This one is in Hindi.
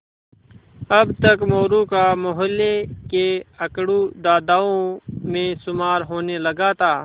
अब तक मोरू का मौहल्ले के अकड़ू दादाओं में शुमार होने लगा था